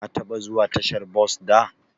Ka taba zuwa tashar bos da?